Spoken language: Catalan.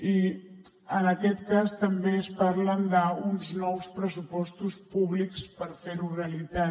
i en aquest cas també es parla d’uns nous pressupostos públics per fer ho realitat